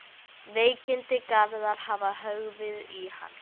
Veikindi Gerðar hafa höggvið í hann.